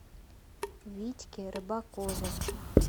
витьке рыбакове